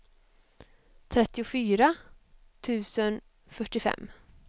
trettiofyra tusen fyrtiofem